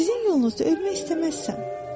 Sizin yolunuzda ölmək istəməzsən.